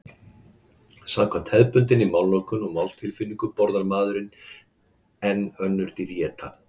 Samkvæmt hefðbundinni málnotkun og máltilfinningu borðar maðurinn en önnur dýr éta.